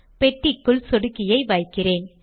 பெட்டிக்குள் சொடுக்கியை வைக்கிறேன்